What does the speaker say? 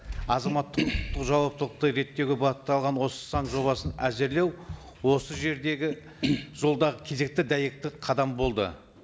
азаматтық құқықтық жауаптылықты реттеуге бағытталған осы заң жобасын әзірлеу осы жердегі жолдағы кезекті дәйекті қадам болды